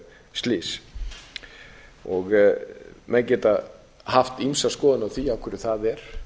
slys menn geta haft ýmsar skoðanir á því af hverju það er